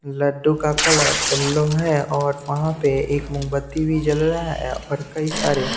लड्डू का colour yellow है और वहाँ पे एक मूंगबत्ती भी जल रहा है और कई सारे --